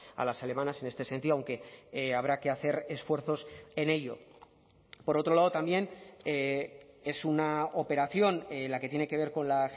a las alemanas en este sentido aunque habrá que hacer esfuerzos en ello por otro lado también es una operación la que tiene que ver con la